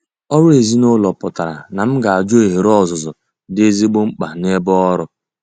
Ọrụ ezinụlọ pụtara na m ga-ajụ ohere ọzụzụ dị ezigbo mkpa nebe ọrụ.